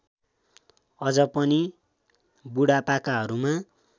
अझ पनि बुढापाकाहरूमा